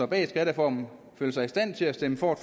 bag skattereformen føler sig i stand til at stemme for